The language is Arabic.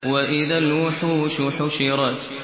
وَإِذَا الْوُحُوشُ حُشِرَتْ